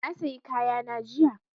Na sayi kaya na jiya